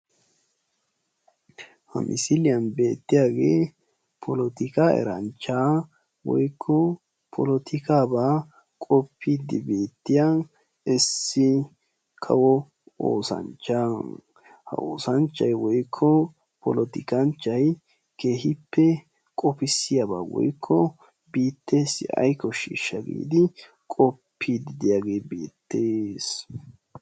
Ha misiliyaa beettiyaage polotikka eranchcha woykko polotikkaaba qopide beettiyaa issi kawo oosanchcha. Ha oosanchchay woykko polotikkanchchay keehippe qopissiyaaba woykko biittessi ay koshshishsha giidi diyaage beettees.